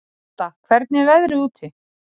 Hadda, hvernig er veðrið úti?